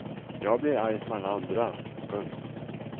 Jag blir arg som alla andra. punkt